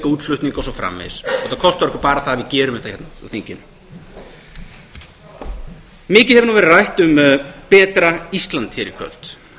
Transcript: útflutning og svo framvegis þetta kostar okkur bara það að við gerum þetta hérna á þinginu mikið hefur verið rætt um betra ísland hér í kvöld